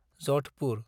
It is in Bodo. Jodhpur